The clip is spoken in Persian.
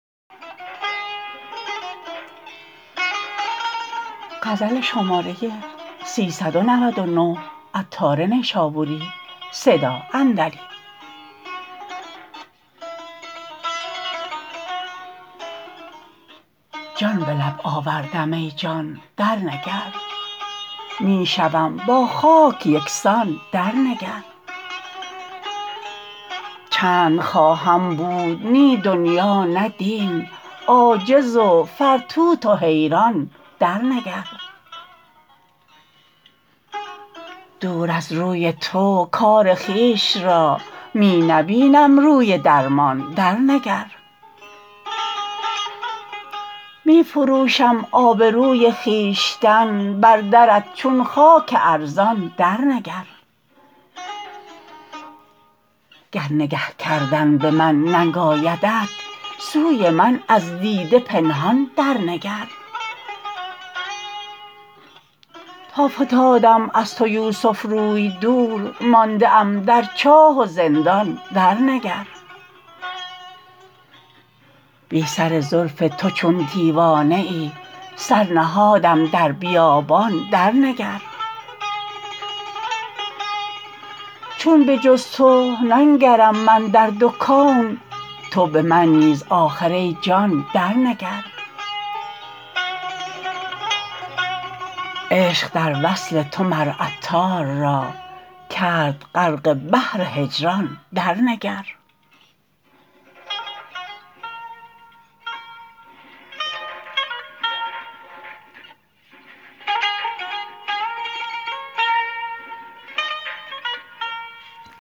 جان به لب آوردم ای جان درنگر می شوم با خاک یکسان درنگر چند خواهم بود نی دنیا نه دین عاجز و فرتوت و حیران درنگر دور از روی تو کار خویش را می نبینم روی درمان درنگر می فروشم آبروی خویشتن بر درت چون خاک ارزان درنگر گر نگه کردن به من ننگ آیدت سوی من از دیده پنهان درنگر تا فتادم از تو یوسف روی دور مانده ام در چاه و زندان درنگر بی سر زلف تو چون دیوانه ای سر نهادم در بیابان درنگر چون به جز تو ننگرم من در دو کون تو به من نیز آخر ای جان درنگر عشق در وصل تو عطار را کرد غرق بحر هجران درنگر